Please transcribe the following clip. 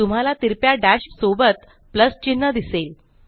तुम्हाला तिरप्या डैश सोबत प्लस चिन्ह दिसेल